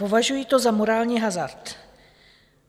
Považuji to za morální hazard.